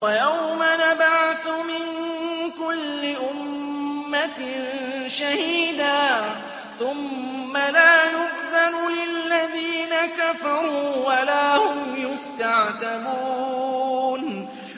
وَيَوْمَ نَبْعَثُ مِن كُلِّ أُمَّةٍ شَهِيدًا ثُمَّ لَا يُؤْذَنُ لِلَّذِينَ كَفَرُوا وَلَا هُمْ يُسْتَعْتَبُونَ